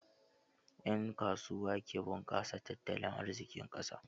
Ƴan kasuwa ke bunƙasa tattalin arzikin ƙasa.